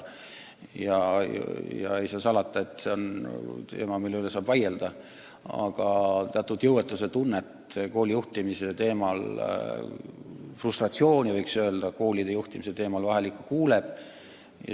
Ei saa salata, et see on teema, mille üle saab vaielda, aga teatud jõuetuse tunnet, võiks öelda, frustratsiooni tuleb ette, kui räägitakse koolide juhtimisest.